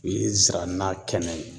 O ye zira na kɛnɛ ye